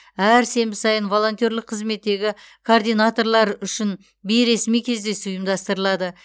әр сенбі сайын волонтерлік қызметтегі координаторлар үшін бейресми кездесу ұйымдастырылады